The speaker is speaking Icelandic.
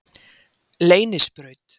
Leynisbraut